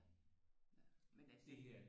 Men altså